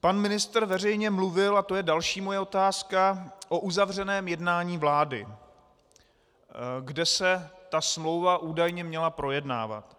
Pan ministr veřejně mluvil, a to je další moje otázka, o uzavřeném jednání vlády, kde se ta smlouva údajně měla projednávat.